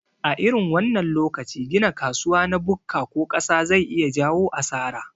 A irin wannan lokaci gina kasuwa na bukka ko ƙasa zai iya jayo asara